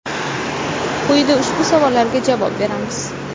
Quyida ushbu savollarga javob beramiz.